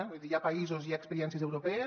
vull dir hi ha països i hi ha expe·riències europees